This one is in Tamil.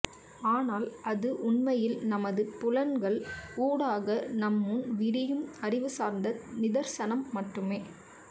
ஆனால் அது உண்மையில் நமது புலன்கள் ஊடாக நம்முன் விரியும் அறிவுசார்ந்த நிதர்சனம் மட்டுமே